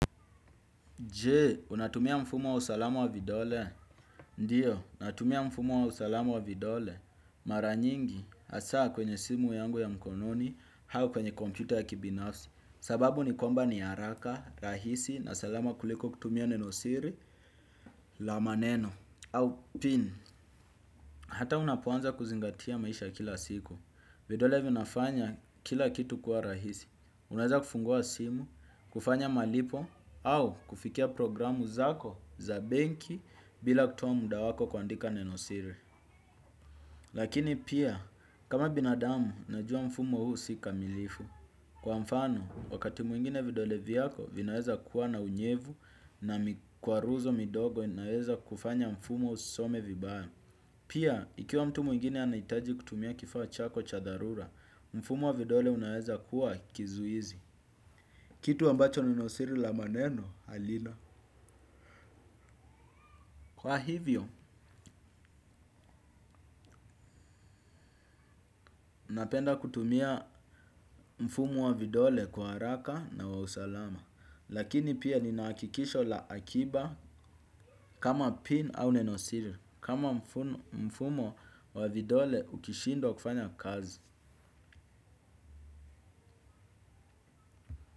Jee, unatumia mfumo wa usalamu wa vidole? Ndiyo, natumia mfumo wa usalamu wa vidole. Mara nyingi, hasaa kwenye simu yangu ya mkononi, au kwenye kompyuta ya kibinafsi. Sababu ni komba ni haraka, rahisi, na salama kuliko kutumia nenosiri, la maneno. Au pin, hata unapoanza kuzingatia maisha kila siku. Vidole vinafanya kila kitu kuwa rahisi. Unaweza kufungua simu, kufanya malipo, au kufikia programu zako za benki bila kutoa muda wako kuandika neno siri. Lakini pia, kama binadamu, najua mfumo huu si kamilifu. Kwa mfano, wakati mwingine vidole vyako, vinaweza kuwa na unyevu na mikwaruzo midogo inaweza kufanya mfumo usome vibaya. Pia, ikiwa mtu mwingine anaitaji kutumia kifaa chako cha dharura, mfumo vidole unaweza kuwa kizuizi. Ambacho nenosiri la maneno halina. Kwa hivyo, napenda kutumia mfumo wa vidole kwa haraka na wa usalama. Lakini pia ninahakikisho la akiba kama pin au nenosiri. Kama mfumo wa vidole ukishindwa kufanya kazi.